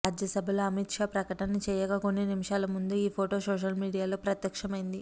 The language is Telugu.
రాజ్యసభలో అమిత్ షా ప్రకటన చేయక కొన్ని నిమిషాల ముందు ఈ ఫోటో సోషల్ మీడియాలో ప్రత్యక్షమైంది